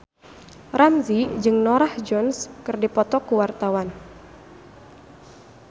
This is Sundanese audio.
Ramzy jeung Norah Jones keur dipoto ku wartawan